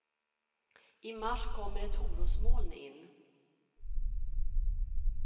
I mars kommer ett orosmoln in.